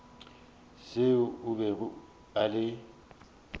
seo a bego a le